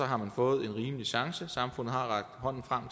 har fået en rimelig chance samfundet har rakt hånden frem